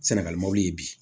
Sɛnɛgali mɔbiliw ye bi